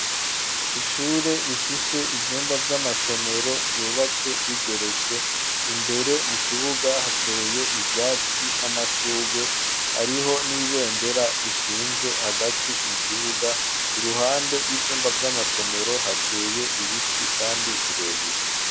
Ishure, rifise ivyumba vy'amasomero, vyubatse bigeretse; imbere mu kibuga, hateye ivyatsi, n'amashurwe; hariho n'ibendera, rishinze hagati mu kibuga; iruhande y'ivyumba, vy'amasomero, hateye ibiti, kandi birebire.